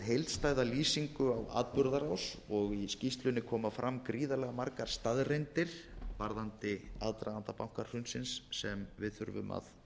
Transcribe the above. heildstæða lýsingu á atburðarás og í skýrslunni koma fram gríðarlega margar staðreyndir varðandi aðdraganda bankahrunsins sem við þurfum að